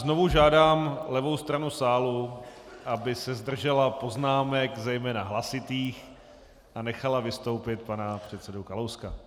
Znovu žádám levou stranu sálu, aby se zdržela poznámek, zejména hlasitých, a nechala vystoupit pana předsedu Kalouska.